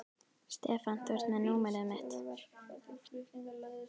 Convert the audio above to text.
Stefán, þú ert með númerið mitt.